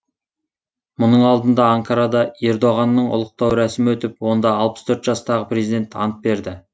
мұның алдында анкарада ердоғанның ұлықтау рәсімі өтіп онда алпыс төрт жастағы президент ант берді